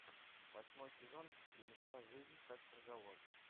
восьмой сезон фильмеца жизнь как приговор